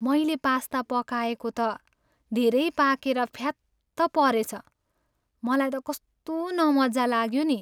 मैले पास्ता पकाएको त धेरै पाकेर फ्यात्त परेछ, मलाई त कस्तो नमज्जा लाग्यो नि।